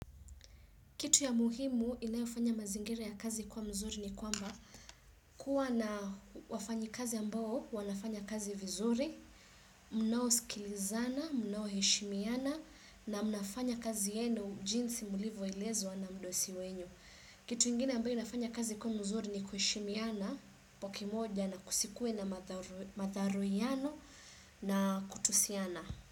Kitu ya muhimu inayofanya mazingira ya kazi kwa mzuri ni kwamba kuwa na wafanyi kazi ambao wanafanya kazi vizuri, mnaosikilizana, mnaoheshimiana na mnafanya kazi yenu jinsi mlivo elezwa na mdosi wenu. Kitu ingine ambayo inafanya kazi kuwa mzuri ni kuheshimiana, kwa kimoja na kusikue na madharauiano na kutusiana.